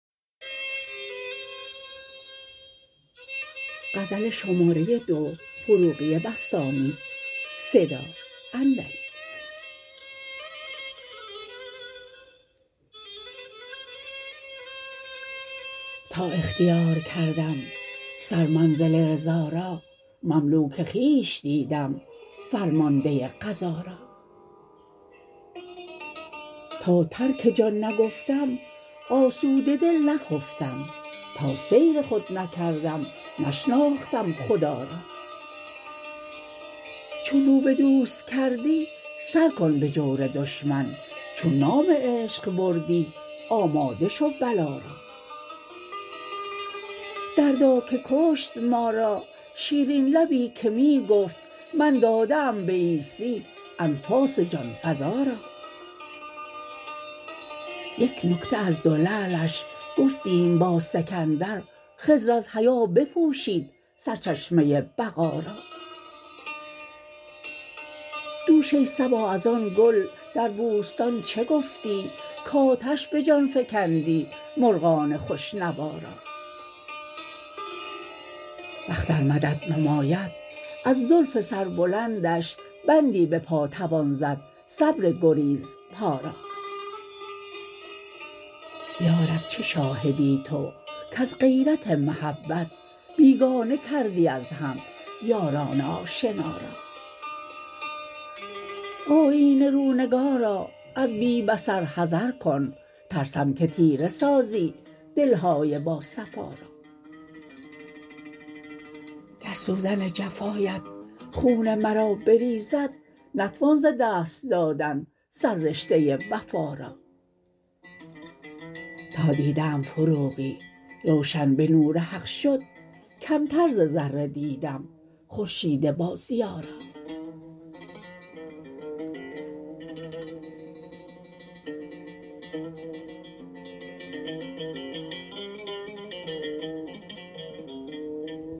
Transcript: تا اختیار کردم سر منزل رضا را مملوک خویش دیدم فرمانده قضا را تا ترک جان نگفتم آسوده دل نخفتم تا سیر خود نکردم نشناختم خدا را چون رو به دوست کردی سر کن به جور دشمن چون نام عشق بردی آماده شو بلا را دردا که کشت ما را شیرین لبی که می گفت من داده ام به عیسی انفاس جان فزا را یک نکته از دو لعلش گفتیم با سکندر خضر از حیا بپوشید سرچشمه بقا را دوش ای صبا از آن گل در بوستان چه گفتی کاتش به جان فکندی مرغان خوش نوا را بخت ار مدد نماید از زلف سر بلندش بندی به پا توان زد صبر گریز پا را یا رب چه شاهدی تو کز غیرت محبت بیگانه کردی از هم یاران آشنا را آیینه رو نگارا از بی بصر حذر کن ترسم که تیره سازی دلهای با صفا را گر سوزن جفایت خون مرا بریزد نتوان ز دست دادن سر رشته وفا را تا دیده ام فروغی روشن به نور حق شد کمتر ز ذره دیدم خورشید با ضیا را